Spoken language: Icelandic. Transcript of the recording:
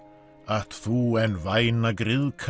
at þú en væna